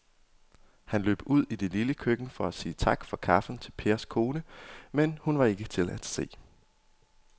Han løb ud i det lille køkken for at sige tak for kaffe til Pers kone, men hun var ikke til at se.